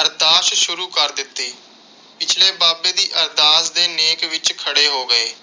ਅਰਦਾਸ ਸ਼ੁਰੂ ਕਰ ਦਿੱਤੀ। ਪਿਛਲੇ ਬਾਬੇ ਦੀ ਅਰਦਾਸ ਦੇ ਨੇਕ ਵਿਚ ਖੜੇ ਹੋ ਗਏ।